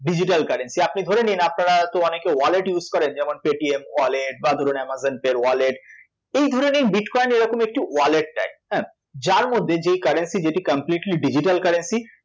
Digital currency আপনি ধরে নিন আপনারা তো অনেকে wallet use করেন যেমন পেটিএম wallet বা ধরুন অ্যামাজন পে'র wallet এই ধরে নিন bitcoin এরকমই একটি wallet type হ্যাঁ? যার মধ্যে যেই currency যেটি completely digital currency